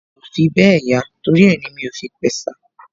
Ara mi ò fi bẹ́ẹ̀ yá torí ẹ ni mi ò fi pẹ̀sà